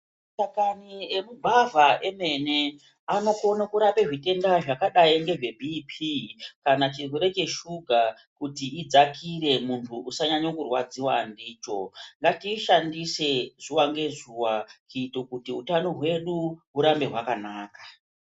Mashakani emugwavha emene anokone kurapa zvirwere zvakadai ngebhipii kana chirwere cheshuga kuti idzakire mumuviri muntu usanyanye kurwadziwa ndicho. Ngatiishandise nguwa ngenguwa kuita kuti utano hwedu hurambe hwakanaka.